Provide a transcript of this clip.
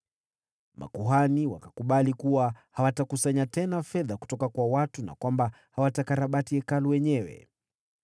Makuhani wakakubali kuwa hawatakusanya tena fedha kutoka kwa watu na kwamba hawatakarabati Hekalu wenyewe.